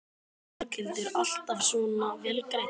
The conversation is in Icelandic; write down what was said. Berghildur: Alltaf svona vel greidd?